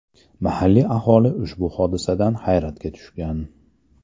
Mahalliy aholi ushbu hodisadan hayratga tushgan.